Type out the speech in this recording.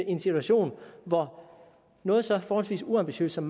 en situation hvor noget så forholdsvis uambitiøst som